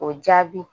O jaabi